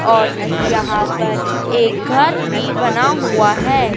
और यहां पर एक घर भी बना हुआ है।